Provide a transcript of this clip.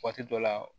Waati dɔ la